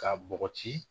K'a bɔgɔti